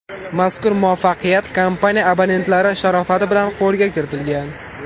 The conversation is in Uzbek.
Mazkur muvaffaqiyat kompaniya abonentlari sharofati bilan qo‘lga kiritilgan.